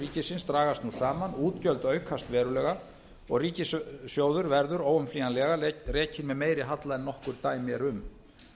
ríkisins dragast nú saman útgjöld aukast verulega og ríkissjóður verður óumflýjanlega rekinn með meiri halla en nokkur dæmi eru um